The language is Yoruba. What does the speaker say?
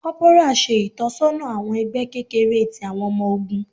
Corporal ṣe itọsọna awọn ẹgbẹ kekere ti awọn ọmọ ogun.